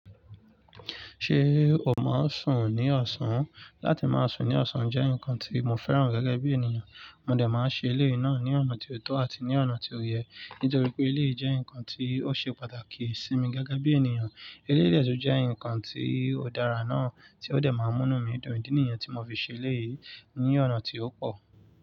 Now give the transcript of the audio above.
Ṣé o máa sùn ní ọ̀sán? Látí máa sùn ní ọ̀sán jẹ́ ǹkan tí mo fẹ́ràn gẹ́gẹ́ bí ènìyàn. Mo dẹ̀ máa ṣe eléyìí náà ní ọ̀nà tó tọ́ àti ní ọ̀nà tó yẹ, nítorí pé eléyìí jẹ́ ǹkan tí ó ṣe pàtàkì sí mi gẹ́gẹ́ bí ènìyàn. Eléyìí dẹ̀ tún jẹ́ ǹkan tí ó dára náà tí ó dẹ̀ máa n mú inumi dun idi niyen tí mo fi ṣe eléyìí ní ọ̀nà tí ó pọ̀.